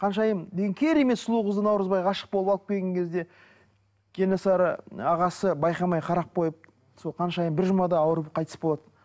қаншайым деген керемет сұлу қызды наурызбай ғашық болып алып келген кезде кенесары ағасы байқамай қарап қойып сол қаншайым бір жұмада ауырып қайтыс болады